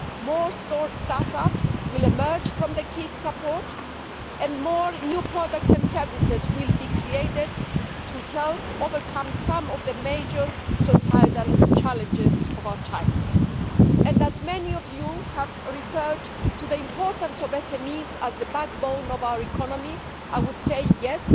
More start ups will emerge from the KIC support and more new products and services will be created to help overcome some of the major societal challenges of our times. As many of you have referred to the importance of SMEs as the backbone of our economy, I would say yes,